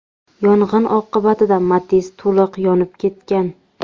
Yong‘in oqibatida Matiz to‘liq yonib ketgan.